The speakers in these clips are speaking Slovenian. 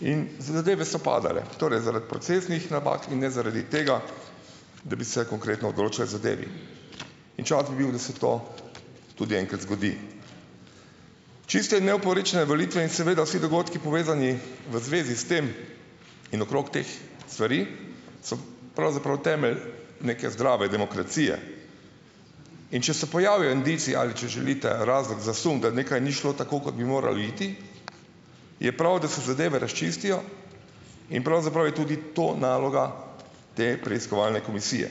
In zadeve so padale. Torej zaradi procesnih napak in ne zaradi tega, da bi se konkretno odločali o zadevi. In čas bi bil, da se to tudi enkrat zgodi. Čiste in neoporečne volitve in seveda vsi dogodki, povezani v zvezi s tem in okrog teh stvari - so pravzaprav temelj neke zdrave demokracije. In če se pojavijo indici - ali, če želite, razlog za sum, da nekaj ni šlo tako, kot bi moralo iti - je prav, da se zadeve razčistijo. In pravzaprav je tudi to naloga te preiskovalne komisije.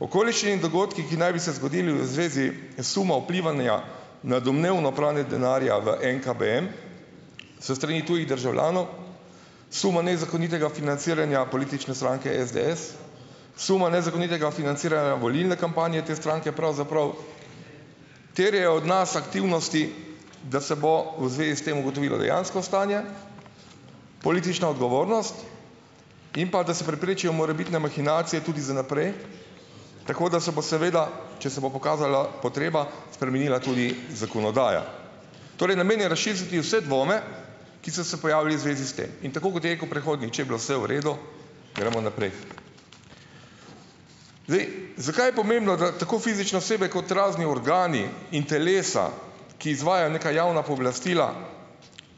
Okoliščine in dogodki, ki naj bi se zgodili v zvezi suma vplivanja na domnevno pranje denarja v NKBM s strani tujih državljanov, suma nezakonitega financiranja politične stranke SDS, suma nezakonitega financiranja volilne kampanje te stranke pravzaprav terjajo od nas aktivnosti, da se bo v zvezi s tem ugotovilo dejansko stanje, politična odgovornost in pa, da se preprečijo morebitne mahinacije tudi za naprej, tako da se bo seveda, če se bo pokazala potreba, spremenila tudi zakonodaja. Torej namen je razčistiti vse dvome, ki so se pojavili v zvezi s tem, in tako kot je rekel predhodni, če je bilo vse v redu, gremo naprej. Zdaj, zakaj je pomembno, da tako fizične osebe kot razni organi in telesa, ki izvajajo neka javna pooblastila,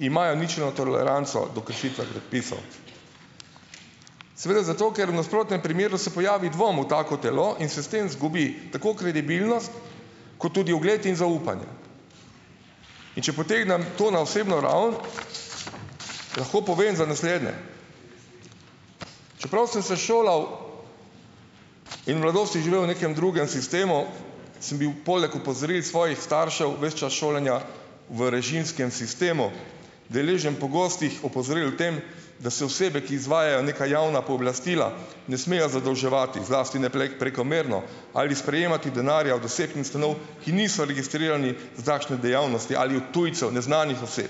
imajo ničelno toleranco do kršitve predpisov? Seveda zato, ker v nasprotnem primeru se pojavi dvom v tako telo in se s tem izgubi tako kredibilnost kot tudi ugled in zaupanje. In če potegnem to na osebno raven, lahko povem za naslednje, čeprav sem se šolal in v mladosti živel v nekem drugem sistemu, sem bil poleg opozoril svojih staršev ves čas šolanja v režimskem sistemu, deležen pogostih opozoril o tem, da se osebe, ki izvajajo neka javna pooblastila, ne smejo zadolževati, zlasti ne prekomerno ali sprejemati denarja od vseh ustanov, ki niso registrirani za takšne dejavnosti ali od tujcev, neznanih oseb.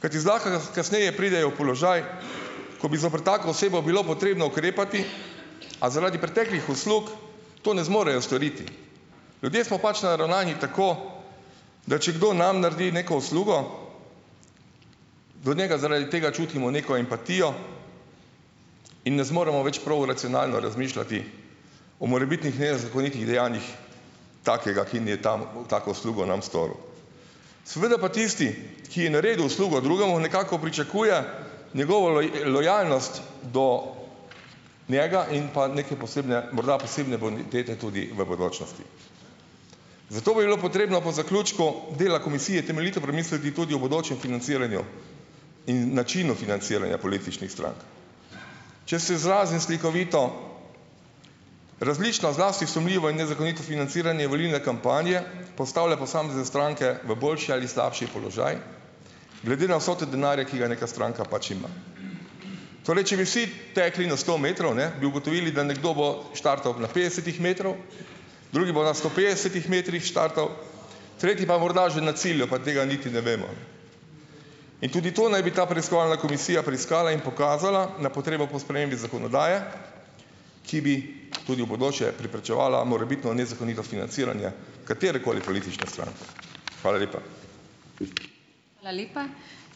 Kajti zlahka kasneje pridejo v položaj, ko bi zoper tako osebo bilo potrebno ukrepati, a zaradi preteklih uslug to ne zmorejo storiti. Ljudje smo pač naravnani tako, da če kdo nam naredi neko uslugo, do njega zaradi tega čutimo neko empatijo in ne zmoremo več prav racionalno razmišljati o morebitnih nezakonitih dejanjih takega, tako uslugo nam storil. Seveda pa tisti, ki je naredil uslugo drugemu, nekako pričakuje njegovo lojalnost do njega in pa neke posebne, morda posebne bonitete tudi v bodočnosti. Zato bi bilo potrebno po zaključku dela komisije temeljito premisliti tudi o bodočem financiranju in načinu financiranja političnih strank. Če se izrazim slikovito, različna, zlasti sumljiva in nezakonito financiranje volilne kampanje postavlja posamezne stranke v boljši ali slabši položaj, glede na vsoto denarja, ki ga neka stranka pač ima. Torej, če bi vsi tekli na sto metrov, ne, bi ugotovili, da nekdo bo štartal na petdesetih metrih, drugi bo na sto petdesetih metrih štartal, tretji pa morda že na cilju, pa tega niti ne vemo. In tudi to naj bi ta preiskovalna komisija preiskala in pokazala na potrebo po spremembi zakonodaje, ki bi tudi v bodoče preprečevala morebitno nezakonito financiranje katerekoli politične stranke. Hvala lepa.